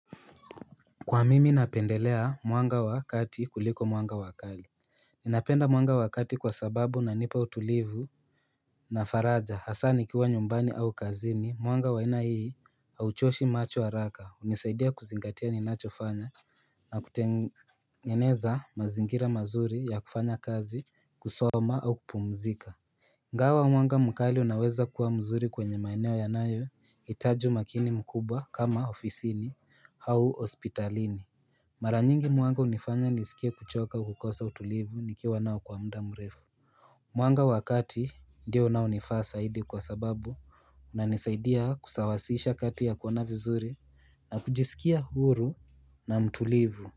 Kwa mimi napendelea mwanga wa kati kuliko mwanga wa kali Ninapenda mwanga wa kati kwa sababu unanipa utulivu na faraja hasa nikiwa nyumbani au kazini mwanga wa aina hii hauchoshi macho haraka hunisaidia kuzingatia ninachofanya na kutengeneza mazingira mazuri ya kufanya kazi kusoma au kupumzika ingawa mwanga mkali unaweza kuwa mzuri kwenye maeneo yanayo hitaji umakini mkubwa kama ofisini au hospitalini Mara nyingi mwanga hunifanya nisikie kuchoka kukosa utulivu nikiwa nao kwa mda mrefu Mwanga wa kati ndio unaonifaa saidi kwa sababu inanisaidia kusawasisha kati ya kuona vizuri na kujisikia huru na mtulivu.